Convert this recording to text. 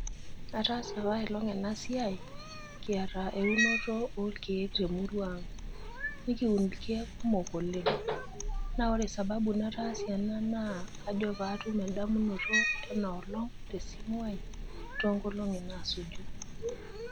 Ataasa apa ailong ena siai kiata eunore orkiek te murua ang. Na ore sababu nataasie ena naa kajo paatum endamunoto sidai te simu ai toonkolongi naaponu.